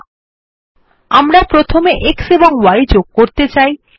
না আমরা প্রথমে x এবং y যোগ করতে চাই